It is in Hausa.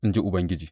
in ji Ubangiji.